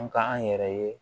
An ka an yɛrɛ ye